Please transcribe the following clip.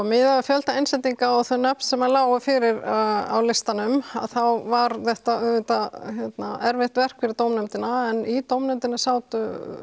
miðað við fjölda innsendinga og það nafn sem lá fyrir á listanum að þá var þetta auðvitað erfitt verk fyrir dómnefndina en í dómnefndinni sátu